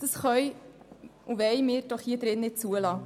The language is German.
Das können und wollen wir doch nicht zulassen.